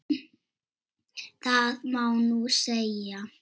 Það má nú segja.